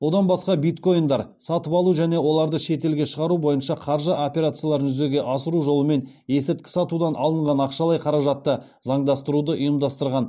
одан басқа биткоиндар сатып алу және оларды шетелге шығару бойынша қаржы операцияларын жүзеге асыру жолымен есірткі сатудан алынған ақшалай қаражатты заңдастыруды ұйымдастырған